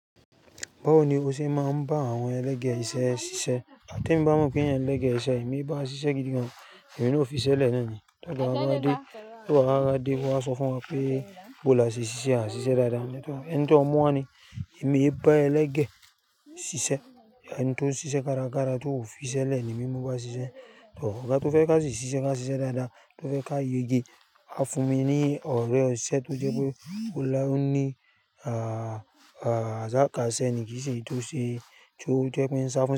Báwo ni o ṣe máa ń bá àwọn ẹlẹ́gbẹ́ iṣẹ́ ṣiṣẹ́? Àh temi bá mọ̀ pé eeyan ẹlẹ́gẹ̀ẹ́ iṣẹ́, èmi bá a ṣiṣẹ́ gidi gan. Èmi naa ó fi iṣẹ́ lẹ̀ náà ni. Toga wa ba dé, yóò wa dé, ó wáa sọ fún wa pé, "bawo là ṣe ṣiṣẹ́, a ṣiṣẹ́ dáadáa." To eni to mú wa ni, èmi i bá ẹlẹ́gẹ̀ẹ́ ṣiṣẹ́. Ẹni tó ń ṣiṣẹ́ kárakára, tó ò fi iṣẹ́ lẹ̀ ni èmi mo bá ṣiṣẹ́. Oga tó fẹ́ ká sì ṣiṣẹ́, ká ṣiṣẹ́ dáadáa, tó fẹ́ ká yege, á fún mi ní ọ̀rẹ́ iṣẹ́ tó jẹ́ pé ó lá o ní, à, à, ṣaka isẹ́ ni kí ṣe, tó ṣe, tó jẹ́ pé ń sá fún ṣe.